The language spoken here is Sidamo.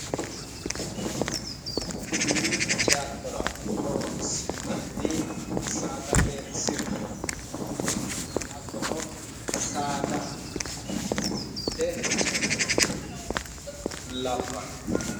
Mini ceattora horonsi'nanni saadate sircho hattono saadate ceano labbanno.